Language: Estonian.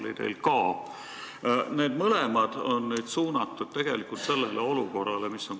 Nii et mõlemad auditid olid suunatud kohalike valimiste eelsele olukorrale.